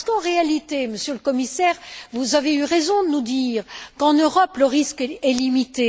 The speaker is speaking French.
Car en réalité, Monsieur le Commissaire, vous avez eu raison de nous dire qu'en Europe, le risque est limité.